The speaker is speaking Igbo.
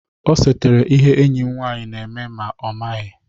O setara ihe enyi m nwanyị na-eme ma ọ maghị.